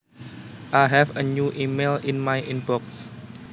I have a new email in my inbox